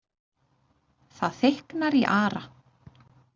Það þykknar í Ara,